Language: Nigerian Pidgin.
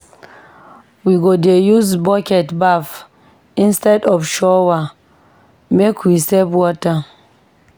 We go dey use bucket baff instead of shower, make we save water.